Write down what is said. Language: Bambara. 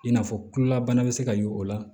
I n'a fɔ kulolabana bɛ se ka ye o la